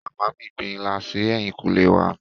Màmá mí gbin ilá si ẹ̀yìnkùlé wa.